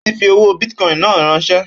Ó ti fi owó bìtìcoin náà ránsẹ́